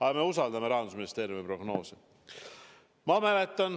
Aga me usaldame Rahandusministeeriumi prognoose.